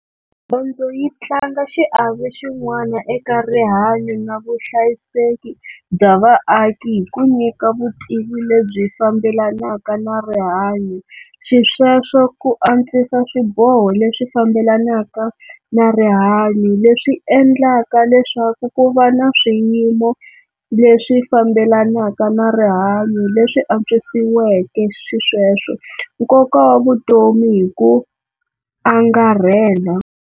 Dyondzo yi tlanga xiave xin'wana eka rihanyo na vuhlayiseki bya vaaki hi ku nyika vutivi lebyi fambelanaka na rihanyo xisweswo ku antswisa swiboho leswi fambelanaka na rihanyo leswi endlaka leswaku ku va na swiyimo leswi fambelanaka na rihanyo leswi antswisiweke xisweswo nkoka wa vutomi hi ku angarhela.